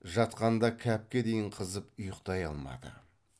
жатқанда кәпке дейін қызып ұйқтай алмады